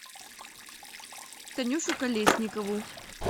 танюшу колесникову